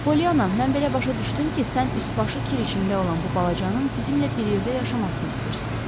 Poliyana, mən belə başa düşdüm ki, sən üst-başı kir içində olan bu balacanın bizimmlə bir yerdə yaşamasını istəyirsən.